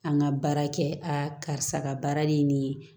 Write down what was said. An ka baara kɛ aa karisa ka baara de ye nin ye